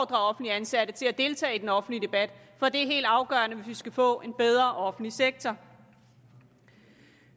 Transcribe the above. ansatte til at deltage i den offentlige debat for det er helt afgørende hvis vi skal få en bedre offentlig sektor